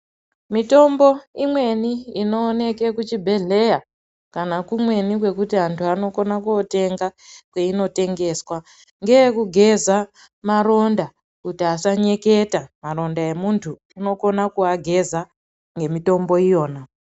Mitombo imweni inooneke kuchibhedhleya kana kumweni antu anokona kotenga kwainotengeswa ngeyekugeza maronda kuti asanyeketa maronda emuntu anokona kuaageza ngemutombo iyona.